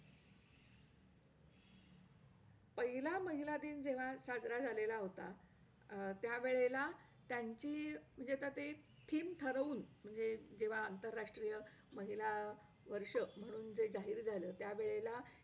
अ गणेश विद्यालय या शाळेत गेले . तिथं मी पहिली मराठी medium असल्यामुळे तिथं मला semi english काही english मध्ये विषय शिकताना खूप अवघड जायच english वाचायला नव्हतं येत तेव्हा मग..